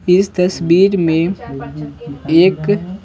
इस तस्वीर में एक।